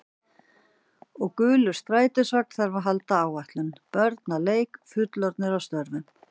Og gulur strætisvagn þarf að halda áætlun, börn að leik, fullorðnir að störfum.